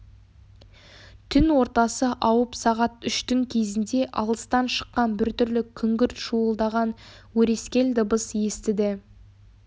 түн ортасы ауып сағат үштің кезінде алыстан шыққан біртүрлі күңгірт шуылдаған өрескел дыбыс естіді